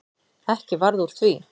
Ekki varð úr því.